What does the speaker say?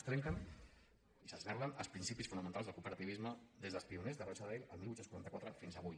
es trenquen i s’esberlen els principis fonamentals del cooperativisme des dels pioners de rochdale el divuit quaranta quatre fins avui